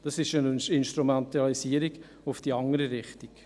Das ist eine Instrumentalisierung in die andere Richtung.